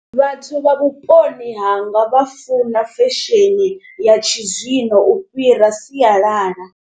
Vhathu vha vhuponi hanga vha funa fesheni ya tshizwino u fhira siyalala.